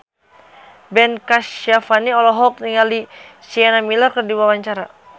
Ben Kasyafani olohok ningali Sienna Miller keur diwawancara